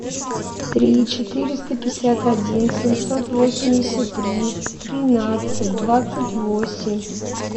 три четыреста пятьдесят один семьсот восемьдесят три тринадцать двадцать восемь